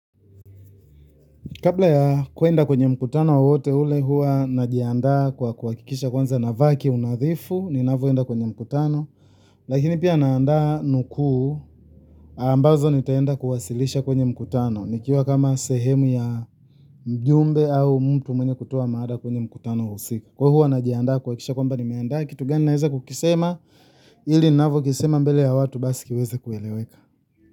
Kabla ya kuenda kwenye mkutano wowote ule hua najianda kwa kuakikisha kwanza navaa kiunadhifu, ninavyoenda kwenye mkutano, lakini pia naanda nukuu ambazo nitaenda kuwasilisha kwenye mkutano, nikiwa kama sehemu ya mjumbe au mtu mwenye kutoa mada kwenye mkutano husika. Kwa hivyo hua najianda kuakikisha kwamba nimeandaa kitu gani naeza kukisema ili ninavyo kisema mbele ya watu basi kiweze kueleweka.